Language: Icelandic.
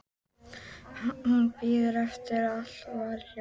Hún bíður eftir að allt verði hljótt.